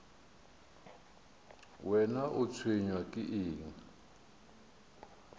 wena o tshwenywa ke eng